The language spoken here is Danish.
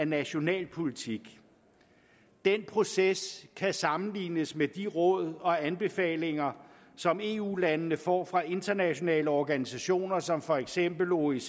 nationale politik den proces kan sammenlignes med de råd og anbefalinger som eu landene får fra internationale organisationer som for eksempel oecd